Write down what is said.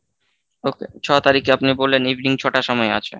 ছয় তারিখে আপনি বললেন evening ছটার সময় আছে।